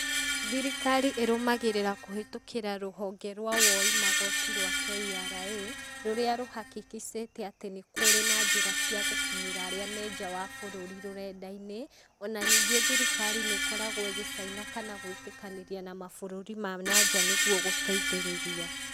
Thirikari ĩrũmagĩrĩra kũhĩtũkĩra rũhonge rwa woi magoti rwa KRA, rũría rũhahikicĩte atĩ nĩ kũrĩ na njĩra cia gũkinyĩra aría me nja wa bũrũri rũrenda-inĩ, ona ningĩ thirikari nĩ ĩkoragwo ĩgĩcaina kana gwĩtĩkanĩria na mabũrũri ma na nja nĩguo gũteithĩrĩria.